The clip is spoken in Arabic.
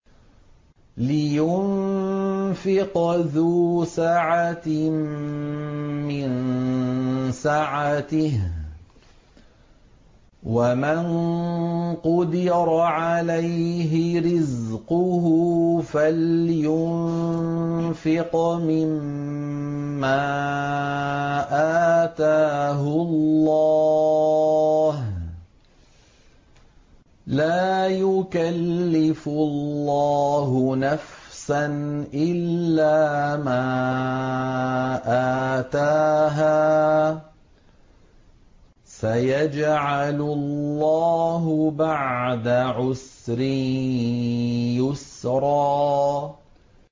لِيُنفِقْ ذُو سَعَةٍ مِّن سَعَتِهِ ۖ وَمَن قُدِرَ عَلَيْهِ رِزْقُهُ فَلْيُنفِقْ مِمَّا آتَاهُ اللَّهُ ۚ لَا يُكَلِّفُ اللَّهُ نَفْسًا إِلَّا مَا آتَاهَا ۚ سَيَجْعَلُ اللَّهُ بَعْدَ عُسْرٍ يُسْرًا